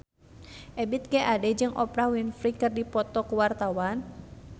Ebith G. Ade jeung Oprah Winfrey keur dipoto ku wartawan